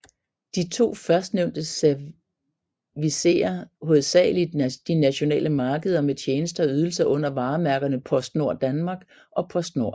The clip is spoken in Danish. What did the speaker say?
De to førstnævnte servicerer hovedsagelig de nationale markeder med tjenester og ydelser under varemærkerne PostNord Danmark og Postnord